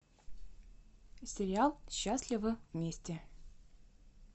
сериал счастливы вместе